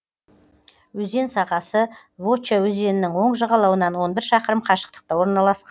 өзен сағасы вотча өзенінің оң жағалауынан он бір шақырым қашықтықта орналасқан